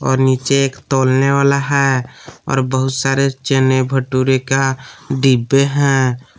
और नीचे एक तोलने वाला है और बहुत सारे चने भटूरे का डिब्बे हैं।